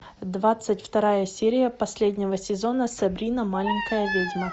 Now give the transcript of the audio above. двадцать вторая серия последнего сезона сабрина маленькая ведьма